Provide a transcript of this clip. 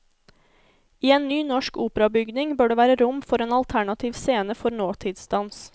I en ny norsk operabygning bør det være rom for en alternativ scene for nåtidsdans.